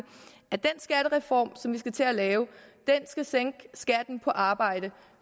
at den skattereform som vi skal til at lave skal sænke skatten på arbejde